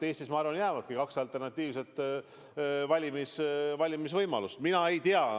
Eestis, ma arvan, jäävadki kaks alternatiivset valimisvõimalust.